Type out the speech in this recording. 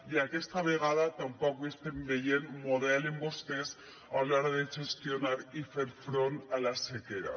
i aquesta vegada tampoc hi estem veient model en vostès a l’hora de gestionar i fer front a la sequera